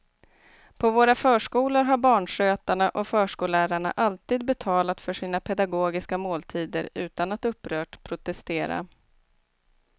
På våra förskolor har barnskötarna och förskollärarna alltid betalat för sina pedagogiska måltider utan att upprört protestera.